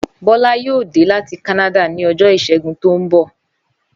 Bólá yóò dé láti Kánádà ni ojó Ìségun tó n bò